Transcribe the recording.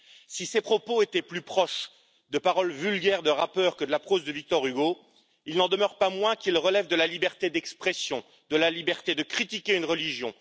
Si ses propos étaient plus proches de paroles vulgaires de rappeurs que de la prose de Victor Hugo, il n'en demeure pas moins qu'ils relèvent de la liberté d'expression, de la liberté de critiquer une religion.